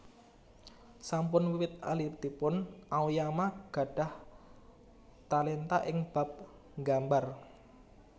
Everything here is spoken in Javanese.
Sampun wiwit alitipun Aoyama gadhah talenta ing bab nggambar